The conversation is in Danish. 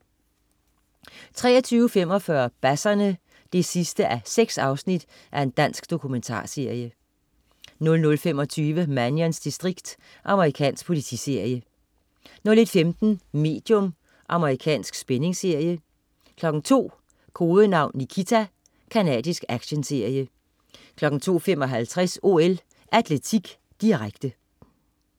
23.45 Basserne 6:6. Dansk dokumentarserie 00.25 Mannions distrikt. Amerikansk politiserie 01.15 Medium. Amerikansk spændingsserie 02.00 Kodenavn Nikita. Canadisk actionserie 02.55 OL: Atletik, direkte